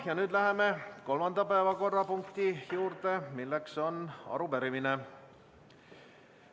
Ja nüüd läheme kolmanda päevakorrapunkti juurde, mis on arupärimine.